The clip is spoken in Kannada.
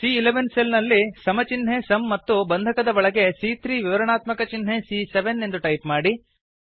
ಸಿಎ11 ಸೆಲ್ ನಲ್ಲಿ ಸಮ ಚಿನ್ಹೆ ಸುಮ್ ಮತ್ತು ಬಂಧಕದ ಒಳಗೆ ಸಿಎ3 ವಿವರಾಣಾತ್ಮಕ ಚಿನ್ಹೆ ಸಿಎ7 ಎಂದು ಟೈಪ್ ಮಾಡಿ